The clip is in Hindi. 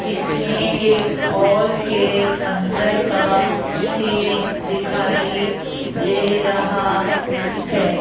इसमें एक हॉल के अंदर का सीन दिखाई दे रहा है।